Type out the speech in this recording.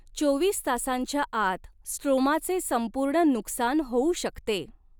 चोवीस तासांच्या आत स्ट्रोमाचे संपूर्ण नुकसान होऊ शकते.